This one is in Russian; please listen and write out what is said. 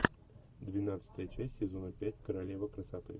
двенадцатая часть сезона пять королева красоты